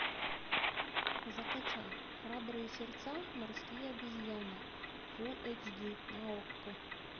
закачай храбрые сердца морские обезьяны фул эйч ди на окко